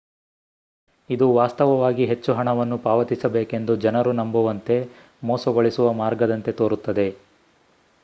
ಇದು ವಾಸ್ತವವಾಗಿ ಹೆಚ್ಚು ಹಣವನ್ನು ಪಾವತಿಸಬೇಕೆಂದು ಜನರು ನಂಬುವಂತೆ ಮೋಸಗೊಳಿಸುವ ಮಾರ್ಗದಂತೆ ತೋರುತ್ತದೆ